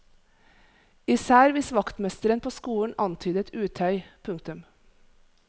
Især hvis vaktmesteren på skolen antydet utøy. punktum